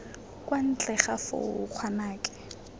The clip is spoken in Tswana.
kwa ntle ga foo ngwanake